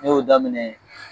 N y'o daminɛ